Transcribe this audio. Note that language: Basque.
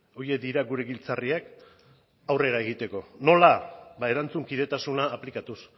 horiek dira gure giltzarriak aurrera egiteko nola ba erantzukidetasuna aplikatuz